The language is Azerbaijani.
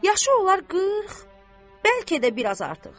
Yaşı olar qırx, bəlkə də biraz artıq.